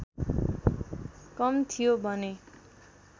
कम थियो भने